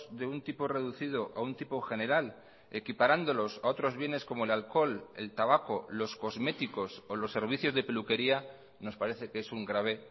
de un tipo reducido a un tipo general equiparándolos a otros bienes como el alcohol el tabaco los cosméticos o los servicios de peluquería nos parece que es un grave